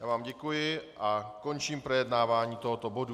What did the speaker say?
Já vám děkuji a končím projednávání tohoto bodu.